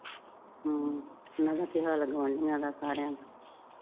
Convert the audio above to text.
ਹਮ ਮੈਂ ਕਿਹਾ . ਸਾਰਿਆਂ ਨੂੰ